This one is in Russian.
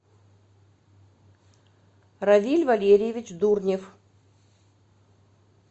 равиль валерьевич дурнев